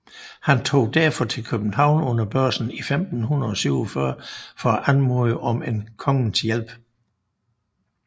Han tog derfor til København under høsten i 1547 for at anmode om kongens hjælp